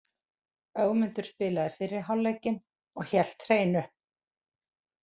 Ögmundur spilaði fyrri hálfleikinn og hélt hreinu.